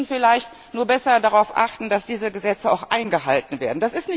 Sie müssen vielleicht nur besser darauf achten, dass diese Gesetze auch eingehalten werden.